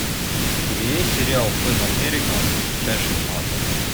у тебя есть сериал пэн американ часть шестнадцать